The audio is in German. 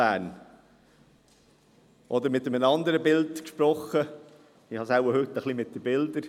Oder mit einem anderen Bild gesprochen, ich habe es wohl heute mit den Bildern: